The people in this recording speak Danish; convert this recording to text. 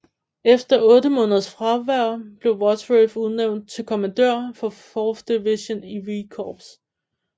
Efter 8 måneders fravær blev Wadsworth udnævnt til kommandør for 4th Division i V Corps